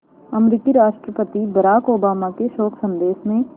अमरीकी राष्ट्रपति Barack Obama के शोक संदेश में